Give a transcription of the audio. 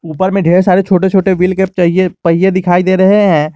ऊपर में ढेर सारे छोटे छोटे व्हील कैप के पहिए दिखाई दे रहे हैं।